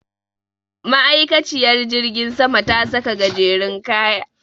Ma'aikaciyar jirgin sama ta saka gajerun kaya.